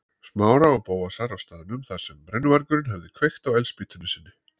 Smára og Bóasar á staðnum þar sem brennuvargurinn hafði kveikt á eldspýtunni sinni.